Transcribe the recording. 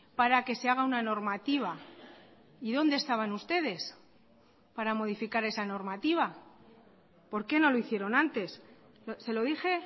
para que se haga una normativa y dónde estaban ustedes para modificar esa normativa porqué no lo hicieron antes se lo dije